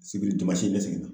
Sibiri n bɛ segin.